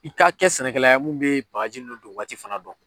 I ka kɛ sɛnɛkɛla ye munnu bɛ bagaji nunnu don waati fana dɔn.